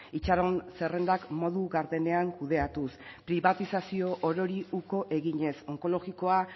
itxaron zerrendak modu gardenean kudeatuz pribatizazio orori uko eginez onkologikoa